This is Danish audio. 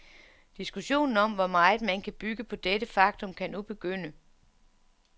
Diskussionen om, hvor meget man kan bygge på dette faktum, kan nu begynde.